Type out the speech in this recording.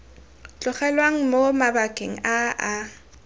tlogelwang mo mabakeng a a